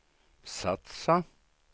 satsa